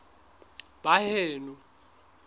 baheno